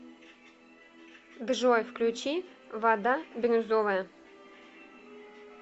джой включи вада бирюзовая